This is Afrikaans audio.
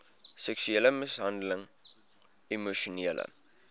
seksuele mishandeling emosionele